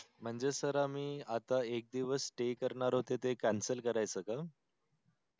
म्हणजे सर आम्ही आता एक दिवस stay करणार होत ते cancel करायचं का